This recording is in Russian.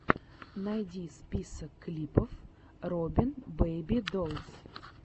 найди список клипов рибон бэйби долс